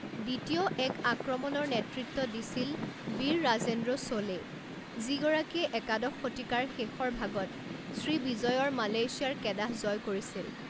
দ্বিতীয় এক আক্ৰমণৰ নেতৃত্ব দিছিল বীৰৰাজেন্দ্ৰ চোলে, যিগৰাকীয়ে একাদশ শতিকাৰ শেষৰ ভাগত শ্ৰীবিজয়ৰ মালয়েছিয়াৰ কেদাহ জয় কৰিছিল।